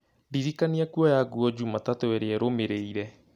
ndĩrikania kuoya nguo jumatatũ ĩrĩa ĩrũmĩrĩire